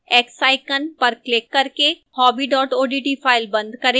x icon पर click करके hobby odt file बंद करें